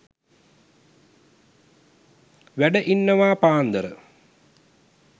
වැඩ ඉන්නවා පාන්දර.